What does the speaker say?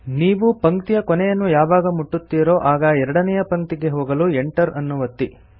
ನೀವು ಪಂಕ್ತಿಯ ಕೊನೆಯನ್ನು ಯಾವಾಗ ಮುಟ್ಟುತ್ತೀರೊ ಆಗ ಎರಡನೇಯ ಪಂಕ್ತಿಗೆ ಹೋಗಲು Enter ಅನ್ನು ಒತ್ತಿ